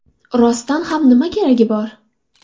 Rostdan ham, nima keragi bor?